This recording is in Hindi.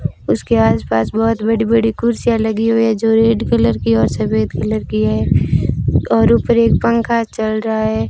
उसके आसपास बहोत बड़ी बड़ी कुर्सियां लगी हुई है जो रेड कलर की और सफेद कलर की है और ऊपर एक पंखा चल रहा है।